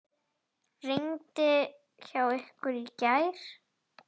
Rigndi hjá ykkur í gær?